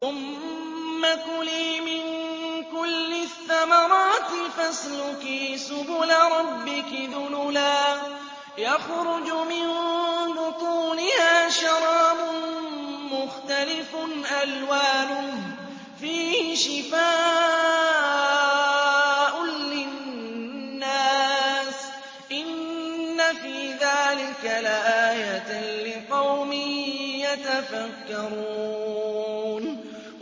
ثُمَّ كُلِي مِن كُلِّ الثَّمَرَاتِ فَاسْلُكِي سُبُلَ رَبِّكِ ذُلُلًا ۚ يَخْرُجُ مِن بُطُونِهَا شَرَابٌ مُّخْتَلِفٌ أَلْوَانُهُ فِيهِ شِفَاءٌ لِّلنَّاسِ ۗ إِنَّ فِي ذَٰلِكَ لَآيَةً لِّقَوْمٍ يَتَفَكَّرُونَ